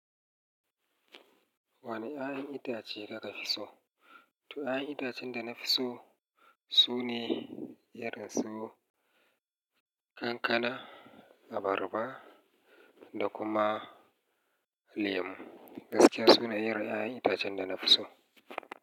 Wane ƴaƴan itace kaka fi so? To, ƴaƴan itacen da na fi so sune irin su kankana, abarba da kuma lemu. Gaskiya sune irin ƴaƴan itacen da na fi so.